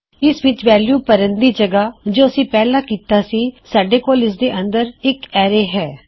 ਇਸ ਵਿੱਚ ਵੈਲੂ ਭਰਣ ਦੀ ਜਗਹ ਜੋ ਅਸੀਂ ਪਹਿਲਾ ਕਿੱਤਾ ਸੀ ਸਾਡੇ ਕੋਲ ਇਸਦੇ ਅੰਦਰ ਇੱਕ ਐਰੇ ਹੈ